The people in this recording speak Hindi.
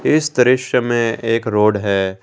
इस दृश्य में एक रोड है।